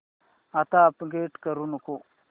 आता अपग्रेड करू नको